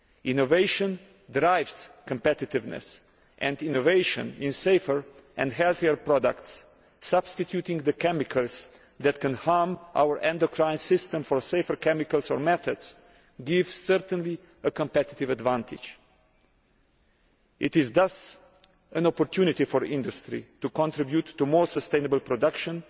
Innovation drives competitiveness and innovation in safer and healthier products, substituting the chemicals that can harm our endocrine system for safer chemicals or methods, certainly gives a competitive advantage. This is thus an opportunity for industry to contribute to more sustainable production